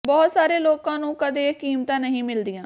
ਬਹੁਤ ਸਾਰੇ ਲੋਕਾਂ ਨੂੰ ਕਦੇ ਇਹ ਕੀਮਤਾਂ ਨਹੀਂ ਮਿਲਦੀਆਂ